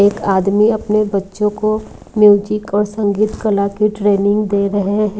एक आदमी अपने बच्चों को म्यूजिक और संगीत कला की ट्रेनिंग दे रहे हैं।